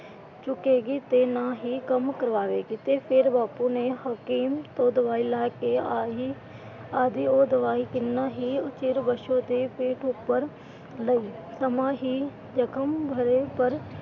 ਚੁੱਕੇਗੀ ਤੇ ਨਾ ਹੀ ਕੰਮ ਕਰਵਾਵੇਗੀ। ਤੇ ਫਿਰ ਬਾਪੂ ਨੇ ਹਕੀਮ ਤੋਂ ਦਵਾਈ ਲੈ ਕੇ ਆਂਦੀ। ਉਹ ਦਵਾਈ ਕਿੰਨਾ ਹੀ ਚਿਰ ਬਸੋ ਦੇ ਪਿੱਠ ਉੱਪਰ ਲਾਈ। ਸਮਾਂ ਹੀ ਜਖ਼ਮ ਭਰੇ ਪਰ,